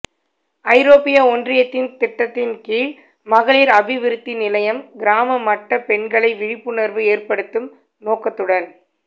ஐரோப்பிய ஒன்றியத்தின் திட்டத்தின் கீழ் மகளிர் அபிவிருத்தி நிலையம் கிராம மட்ட பெண்களை விழிப்புணர்வு ஏற்படுத்தும் நோக்கத்துடன்